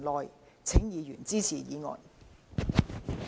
謹請議員支持議案。